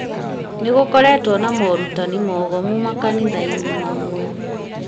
nĩgũkoretwo na morutani mogomu makanithai-nĩmamwe